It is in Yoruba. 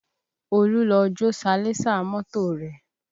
Olú lọ jó salẹńsà mọ́tò rẹ̀